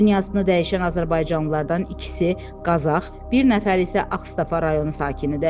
Dünyasını dəyişən azərbaycanlılardan ikisi Qazax, bir nəfər isə Ağstafa rayonu sakinidir.